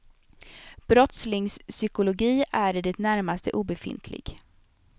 Brottslingspsykologi är i det närmaste obefintlig.